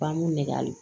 Bangun nɛgɛ